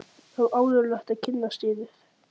Það var ánægjulegt að kynnast yður.